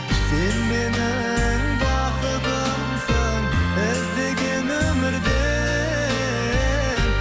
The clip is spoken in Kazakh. сен менің бақытымсың іздеген өмірде